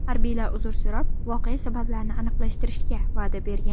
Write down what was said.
Harbiylar uzr so‘rab, voqea sabablarini aniqlashtirishga va’da bergan.